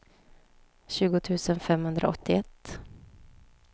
tjugo tusen femhundraåttioett